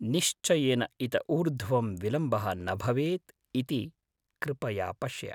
निश्चयेन इत ऊर्ध्वं विलम्बः न भवेत् इति कृपया पश्य।